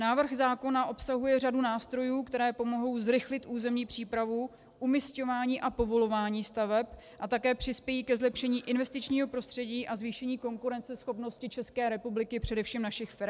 Návrh zákona obsahuje řadu nástrojů, které pomohou zrychlit územní přípravu, umisťování a povolování staveb a také přispějí ke zlepšení investičního prostředí a zvýšení konkurenceschopnosti České republiky, především našich firem.